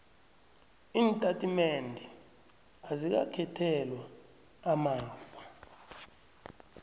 iintatimendezi azikakhethelwa amafa